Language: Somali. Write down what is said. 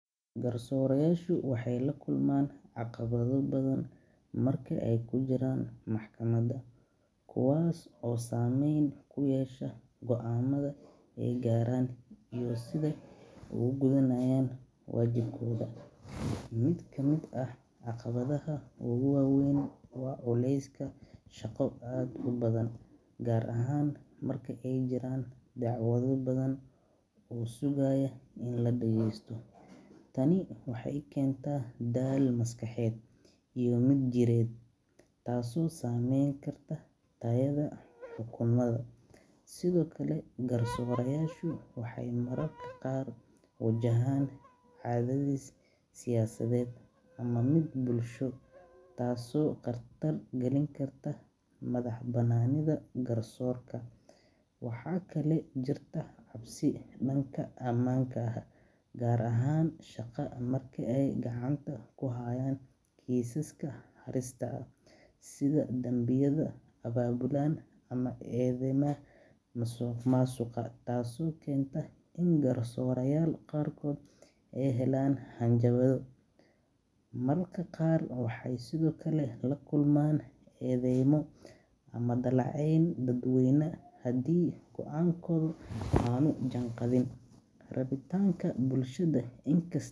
Gar soora yaasha aweey lakulmaan dibato weyn, mid kamid ah waa culeeska shaqa badan, tani waxeey keenta daal maskaxeed, sido kale waxeey wajahan siyasa ama mid bulsho, waa kale jirta cabsi danka amaanka, gaar haan amarka haayan keesya weyn, taas oo keenta inaay helaan hanjabaad.